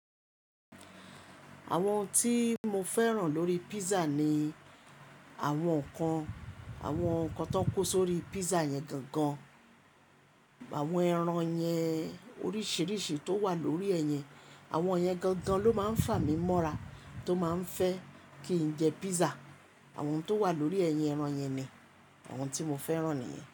Àwọn ohun tí mo fẹ́ràn lórí pizza ni àwọn nkan, àwọn nkan tan kó sórí pizza yẹn gangan. Àwọn ẹran yẹn oríṣìíríṣìí tó wà lórí ẹ̀ yẹn, àwọn yẹn gangan ló máa ń fà mí mọ́ra tó máa ń fẹ́ kí n jẹ pizza. Àwọn tó wà lórí ẹ̀ yẹn ẹran yẹn ni, àwọn tí mo fẹ́ràn nìyẹn.